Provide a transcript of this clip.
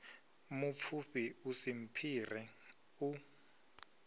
mupfufhi u si mphire u